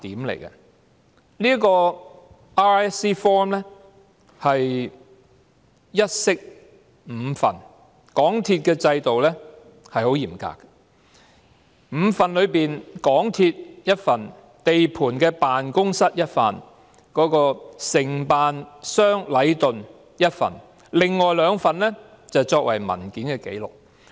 RISC forms 一式五份，港鐵公司的制度十分嚴格，在5份當中，港鐵公司有1份，地盤辦公室有1份，承辦商禮頓有1份，另外兩份則作為文件紀錄。